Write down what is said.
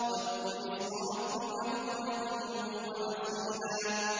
وَاذْكُرِ اسْمَ رَبِّكَ بُكْرَةً وَأَصِيلًا